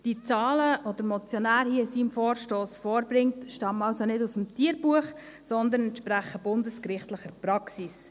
Die Zahlen, die der Motionär hier in seinem Vorstoss vorbringt, stammen also nicht aus dem Tierbuch, sondern entsprechen bundesgerichtlicher Praxis.